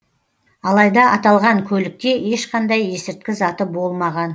алайда аталған көлікте ешқандай есірткі заты болмаған